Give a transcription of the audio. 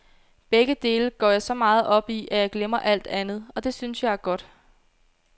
Begge dele går jeg så meget op i, at jeg glemmer alt andet, og det synes jeg er godt.